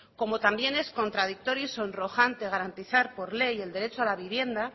como también es contradictorio y sonrojante garantizar por ley el derecho a la vivienda